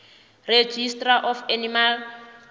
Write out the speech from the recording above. registrar of animal